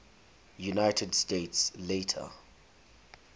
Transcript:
united states later